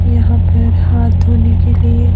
यहां पर हाथ धोने के लिए।